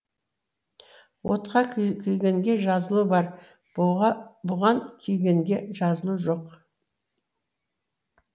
отқа күйгенге жазылу бар бұған күйгенге жазылу жоқ